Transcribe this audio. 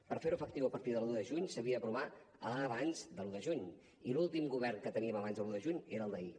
per fer ho efectiu a partir de l’un de juny s’havia d’aprovar abans de l’un de juny i l’últim govern que teníem abans de l’un de juny era el d’ahir